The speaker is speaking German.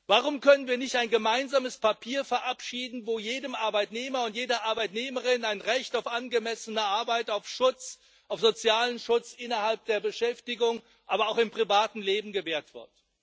Warum können wir nicht ein gemeinsames Papier verabschieden, wo jedem Arbeitnehmer und jeder Arbeitnehmerin ein Recht auf angemessene Arbeit, auf Schutz, auf sozialen Schutz innerhalb der Beschäftigung, aber auch im privaten Leben gewährt wird?